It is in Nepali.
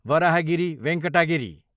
वराहगिरी वेङ्कटा गिरी